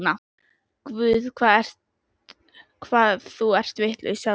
Guð, hvað þú ert vitlaus, sagði hún.